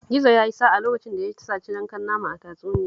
Gizo ya yi sa'a lokacin da ya saci yankan nama a tatsuniyar